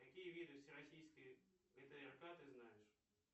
какие виды всероссийской гтрк ты знаешь